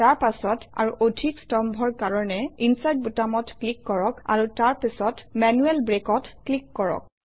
তাৰ পাছত আৰু অধিক স্তম্ভৰ কাৰণে ইনচাৰ্ট বুটামত ক্লিক কৰক আৰু তাৰ পাছত মেনুৱেল Break অত ক্লিক কৰক